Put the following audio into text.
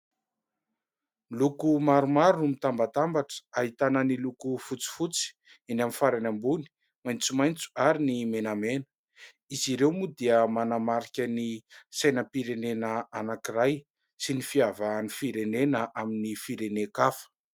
Loko maromaro no mitambatambatra, ahitana ny loko : fotsifotsy eny amin'ny farany ambony, maitsomaitso, ary ny menamena. Izy ireo moa dia manamarika ny sainam-pirenena anankiray, sy ny fiavahan'ny firenena amin'ny firenen-kafa.